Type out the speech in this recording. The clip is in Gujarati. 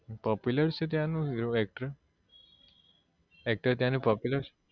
Popular છે ત્યાં નો હીરો actor actor ત્યાં નો popular છે